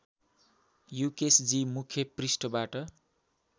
युकेसजी मुख्य पृष्ठबाट